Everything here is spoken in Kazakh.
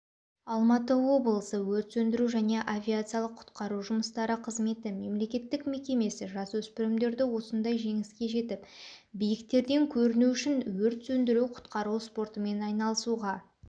алматы облысы өрт сөндіру және авариялық-құтқару жұмыстары қызметі мемлекеттік мекемесі жасөспірімдерді осындай жеңіске жетіп биіктерден көріну үшін өрт сөндіру-құтқару спортымен айналысуға